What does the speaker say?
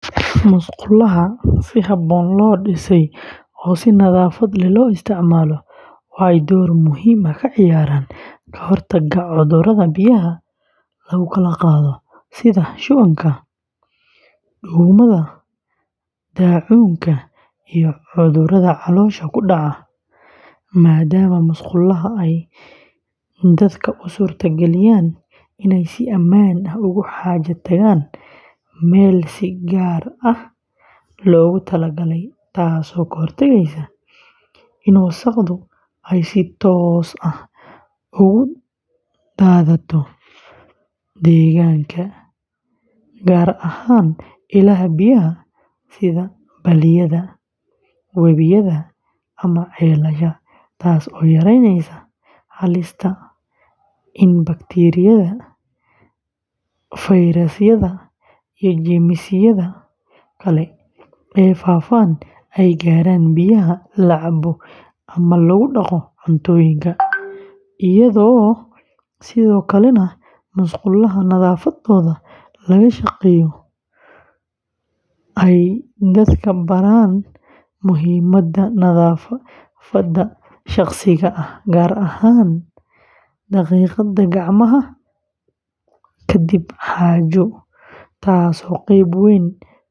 Musqulaha si habboon loo dhisay oo si nadaafad leh loo isticmaalo waxay door muhiim ah ka ciyaaraan ka hortagga cudurrada biyaha lagu kala qaado sida shubanka, duumada, daacuunka, iyo cudurrada caloosha ku dhaca, maadaama musqulaha ay dadka u suurtageliyaan inay si ammaan ah ugu xaajo tagaan meel si gaar ah loogu talagalay taasoo ka hortagaysa in wasakhdu ay si toos ah ugu daadato deegaanka, gaar ahaan ilaha biyaha sida balliyada, webiyada, ama ceelasha, taas oo yareynaysa halista in bakteeriyada, fayrasyada, iyo jeermisyada kale ee faafa ay gaaraan biyaha la cabo ama lagu dhaqo cuntooyinka, iyadoo sidoo kalena musqulaha nadaafaddooda laga shaqeeyo ay dadka baraan muhiimada nadaafadda shakhsiga ah, gaar ahaan dhaqidda gacmaha kadib xaajo, taasoo qayb weyn ka ah.